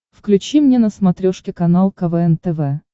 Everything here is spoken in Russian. включи мне на смотрешке канал квн тв